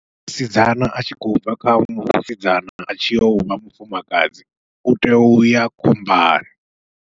Musidzana atshi khou bva kha vhusidzana atshi yovha mufumakadzi utea uya khombani.